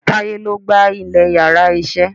Táyé lo gba ilè íyarà iṣẹ